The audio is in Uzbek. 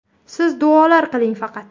Siz duolar qiling faqat”.